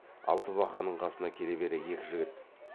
алтыбақанның қасына келе бере екі жігіт